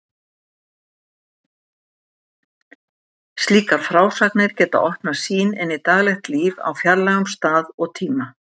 Slíkar frásagnir geta opnað sýn inn í daglegt líf á fjarlægum stað og tíma.